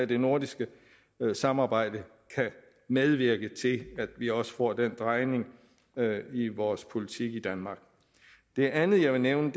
det nordiske samarbejde kan medvirke til at vi også får den drejning i vores politik i danmark det andet jeg vil nævne